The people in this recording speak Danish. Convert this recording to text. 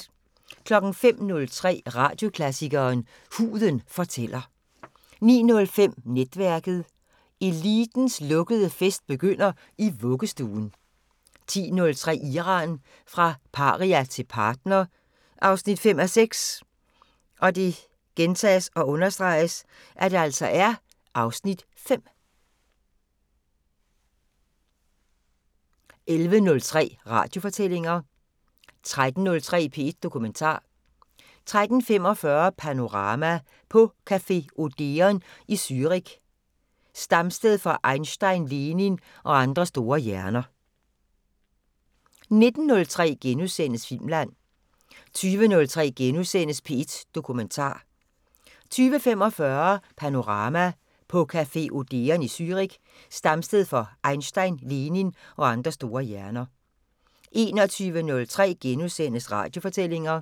05:03: Radioklassikeren: Huden fortæller 09:05: Netværket: Elitens lukkede fest begynder i vuggestuen 10:03: Iran – fra paria til partner 5:6 (Afs. 5) 11:03: Radiofortællinger 13:03: P1 Dokumentar 13:45: Panorama: På café Odeon i Zürich, stamsted for Einstein, Lenin og andre store hjerner 19:03: Filmland * 20:03: P1 Dokumentar * 20:45: Panorama: På café Odeon i Zürich, stamsted for Einstein, Lenin og andre store hjerner 21:03: Radiofortællinger *